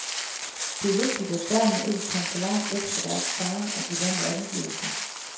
Det var vigtigt, at børnene ikke kom for langt væk fra deres far og de vante omgivelser.